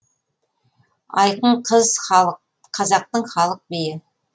айқын қыз қазақтың халық биі